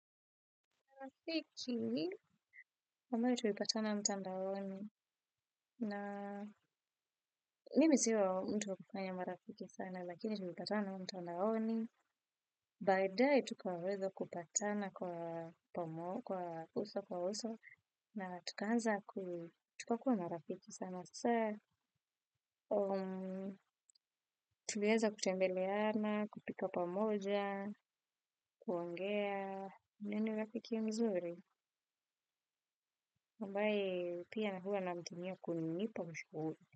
Marafiki, ambayo tulipatana mtandaoni na mimi sio mtu kufanya marafiki sana lakini tulipatana mtandaoni, baadae tukaweza kupatana kwa uso kwa uso na tukaanza tukakuwa marafiki sana. Hasaa, tulieza kutembeleana, kupika pamoja, kuongea, ni rafiki mzuri. Ambaye, pia na huwa namtumia kunipa ushauri.